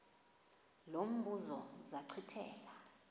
lo mbuzo zachithela